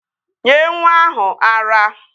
Nyee nwa ahụ ara!